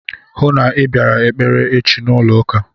Hụụ na Ị bịara ekpere echi n'ụlọ ụka!